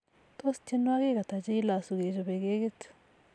tos, tyenwogik hata cheilosu kechope kekit